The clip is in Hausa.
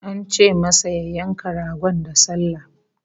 An ce masa ya yanka ragon da sallah